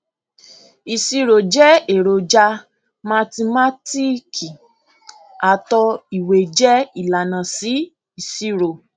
ìṣirò jẹ eroja mathimátíìkì àtò ìwé jẹ ilànà sí ìṣirò